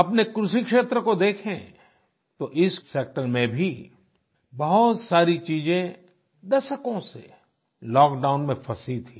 अपने कृषि क्षेत्र को देखें तो इस सेक्टर में भी बहुत सारी चीजें दशकों से लॉकडाउन में फसी थीं